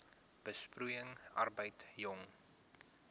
besproeiing arbeid jong